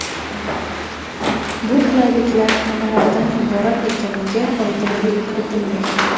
Bu qulayliklar nimalardan iborat ekaniga oydinlik kiritilmagan.